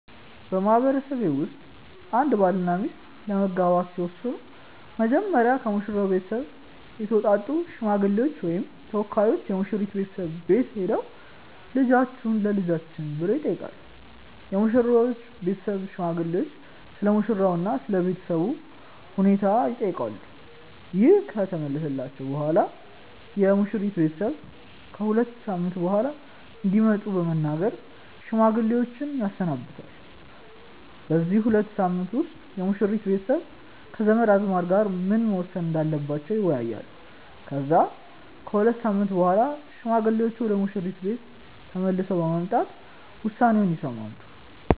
በማህበረሰቤ ውስጥ አንድ ባልና ሚስት ለመጋባት ሲወስኑ መጀመሪያ ከሙሽራው ቤተሰብ የተውጣጡ ሽማግሌዎች ወይም ተወካዮች የሙሽራይቱ ቤተሰብ ቤት ሄደው "ልጃችሁን ለልጃችን" ብለው ይጠይቃሉ። የሙሽሪት ቤተሰብም ሽማግሌዎቹን ስለሙሽራው እና ስለ ቤተሰቡ ሁኔታ ይጠይቃሉ። ይህ ከተመለሰላቸው በኋላም የሙሽሪት ቤተሰብ ከ ሁለት ሳምንት በኋላ እንዲመጡ በመናገር ሽማግሌዎችን ያሰናብታል። በዚህ ሁለት ሳምንት ውስጥ የሙሽሪት ቤተሰብ ከዘመድ አዝማድ ጋር ምን መወሰን እንዳለባቸው ይወያያሉ። ከዛ ከሁለት ሳምንት በኋላ ሽማግሌዎቹ ወደ ሙሽሪት ቤተሰብ ቤት ተመልሰው በመምጣት ውሳኔውን ይሰማሉ።